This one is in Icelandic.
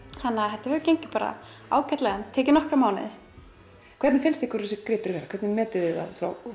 þetta hefur gengið ágætlega en tekið nokkra mánuði hvernig finnst ykkur þessir gripir vera hvernig metið þið þá út frá